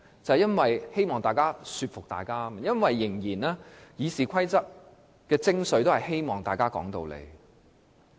就是希望議員互相說服對方，因為《議事規則》的精髓是希望大家說道理。